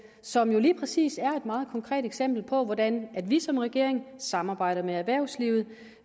som jo lige præcis er et meget konkret eksempel på hvordan vi som regering samarbejder med erhvervslivet